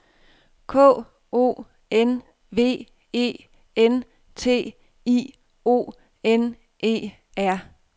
K O N V E N T I O N E R